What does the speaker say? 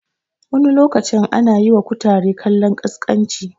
Wani lokacin ana yiwa kutare kallon ƙasƙanci